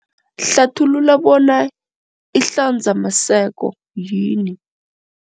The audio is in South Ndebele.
Hlathulula bona ihlanzamaseko yini.